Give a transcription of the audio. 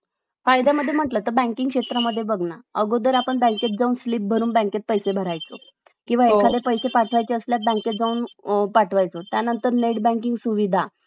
अं जर आपण सगळं all over बघितलं तर त्या बालकाच्या शारीरिक मानसिकतेवर काय परिणाम होतो. लहान वयापासून जर त्याला आपण पैशाची अं पैसा दाखवू असू तर,